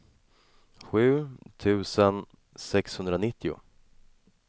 sju tusen sexhundranittio